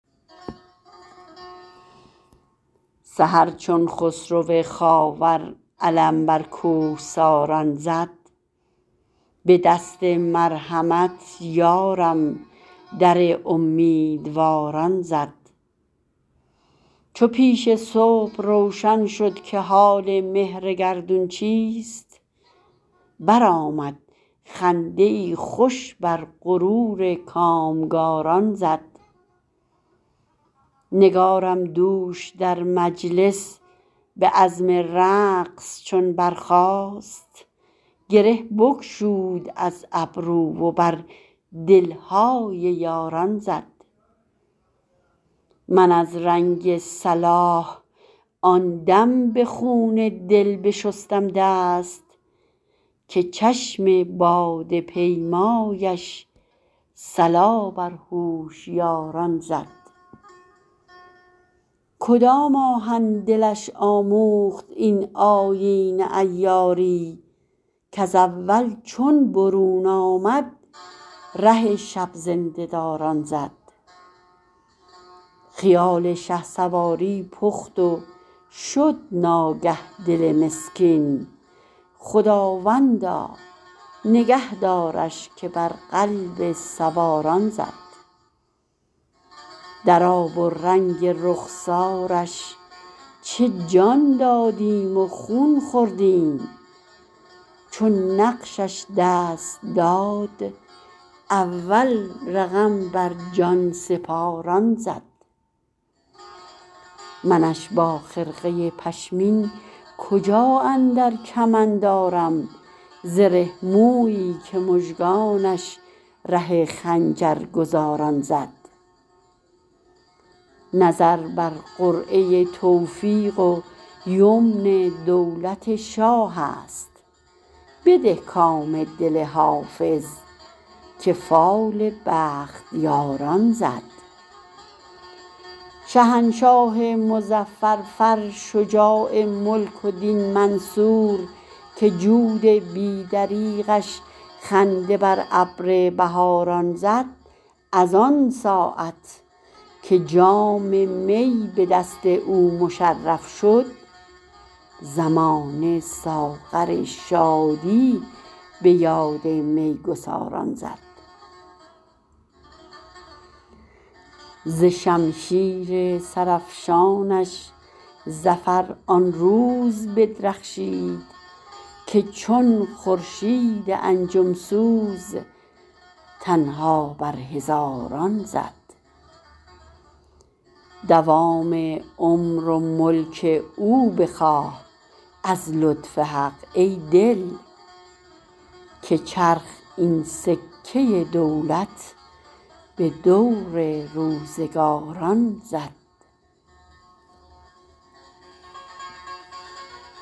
سحر چون خسرو خاور علم بر کوهساران زد به دست مرحمت یارم در امیدواران زد چو پیش صبح روشن شد که حال مهر گردون چیست برآمد خنده ای خوش بر غرور کامگاران زد نگارم دوش در مجلس به عزم رقص چون برخاست گره بگشود از گیسو و بر دل های یاران زد من از رنگ صلاح آن دم به خون دل بشستم دست که چشم باده پیمایش صلا بر هوشیاران زد کدام آهن دلش آموخت این آیین عیاری کز اول چون برون آمد ره شب زنده داران زد خیال شهسواری پخت و شد ناگه دل مسکین خداوندا نگه دارش که بر قلب سواران زد در آب و رنگ رخسارش چه جان دادیم و خون خوردیم چو نقشش دست داد اول رقم بر جان سپاران زد منش با خرقه پشمین کجا اندر کمند آرم زره مویی که مژگانش ره خنجرگزاران زد نظر بر قرعه توفیق و یمن دولت شاه است بده کام دل حافظ که فال بختیاران زد شهنشاه مظفر فر شجاع ملک و دین منصور که جود بی دریغش خنده بر ابر بهاران زد از آن ساعت که جام می به دست او مشرف شد زمانه ساغر شادی به یاد می گساران زد ز شمشیر سرافشانش ظفر آن روز بدرخشید که چون خورشید انجم سوز تنها بر هزاران زد دوام عمر و ملک او بخواه از لطف حق ای دل که چرخ این سکه دولت به دور روزگاران زد